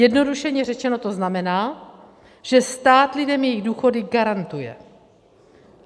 Zjednodušeně řečeno to znamená, že stát lidem jejich důchody garantuje.